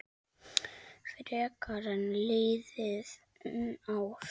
Frekar en liðin ár.